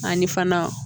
Ani fana